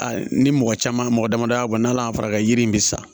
A ni mɔgɔ caman mɔgɔ mɔgɔ damada bɔ n'ala farajɛ yiri in bɛ sa